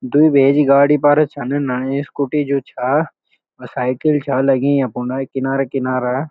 द्वि भेजी गाडी पर छन नयी स्कूटी जू छा साइकिल छा लगीं यख फुंड किनारा किनारा ।